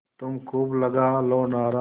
तुम खूब लगा लो नारा